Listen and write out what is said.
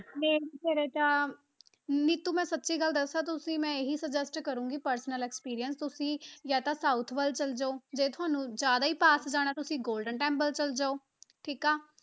Main 'ਚ ਫਿਰ ਤਾਂ ਨੀਤੂ ਮੈਂ ਸੱਚੀ ਗੱਲ ਦੱਸਾਂ ਤੁਸੀਂ ਮੈਂ ਇਹੀ suggest ਕਰਾਂਗੀ personal experience ਤੁਸੀਂ ਜਾਂ ਤਾਂ south ਵੱਲ ਚਲੇ ਜਾਓ ਜੇ ਤੁਹਾਨੂੰ ਜ਼ਿਆਦਾ ਪਾਸ ਜਾਣਾ ਤੁਸੀਂ golden temple ਚਲੇ ਜਾਓ ਠੀਕ ਆ।